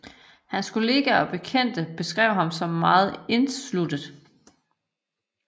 Hans kolleger og bekendte beskrev ham som meget indesluttet